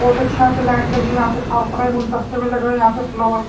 बहुत अच्छी यहां पे लाइट लगी हुई है यहां पे साफ सफाई गुलतस्ते भी लगे हु है यहां पे फ्लोवर --